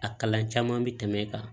A kalan caman bɛ tɛmɛ e kan